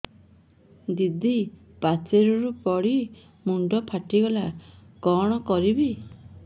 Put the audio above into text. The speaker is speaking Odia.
ଦିଦି ପାଚେରୀରୁ ପଡି ମୁଣ୍ଡ ଫାଟିଗଲା କଣ କରିବି